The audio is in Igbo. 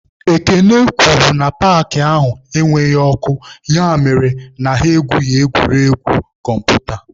Ekene kwuru na paakị ahụ enweghị ọkụ ya mere na ha agbaghị egwuregwu kọmputa.